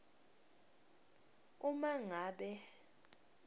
uma ngabe